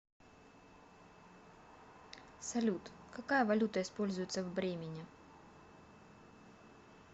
салют какая валюта используется в бремене